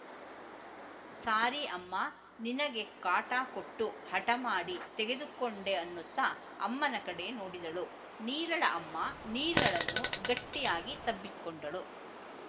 ಸಾರಿ ಅಮ್ಮ ನಿನಗೆ ಕಾಟ ಕೊಟ್ಟು ಹಠಮಾಡಿ ತೆಗೆದುಕೊಂಡೆ ಅನ್ನುತ್ತ ಅಮ್ಮನ ಕಡೆ ನೋಡಿದಳು ನೀಲಳ ಅಮ್ಮ ನೀಲಳನ್ನು ಗಟ್ಟಿಯಾಗಿ ತಬ್ಬಿಕೊಂಡಳು